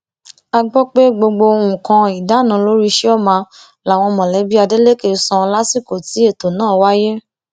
a gbọ pé gbogbo nǹkan ìdáná lórí chioma làwọn mọlẹbí adeleke san lásìkò tí ètò náà wáyé